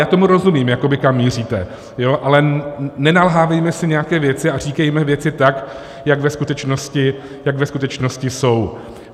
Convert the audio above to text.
Já tomu rozumím, jakoby kam míříte, ale nenalhávejme si nějaké věci a říkejme věci tak, jak ve skutečnosti jsou.